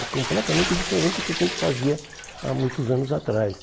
É completamente diferente do que a gente fazia há muitos anos atrás.